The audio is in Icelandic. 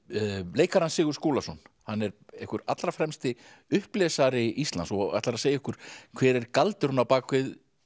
leikarann Sigurð Skúlason hann er einhver allra fremsti Íslands og ætlar að segja okkur hver er galdurinn á bak við